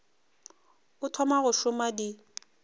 o thoma go šoma di